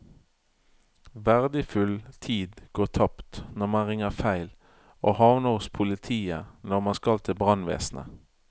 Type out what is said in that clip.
Verdifull tid går tapt når man ringer feil og havner hos politiet når man skal til brannvesenet.